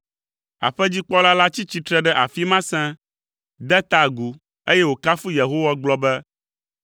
Aƒedzikpɔla la tsi tsitre ɖe afi ma sẽe, de ta agu, eye wòkafu Yehowa gblɔ be,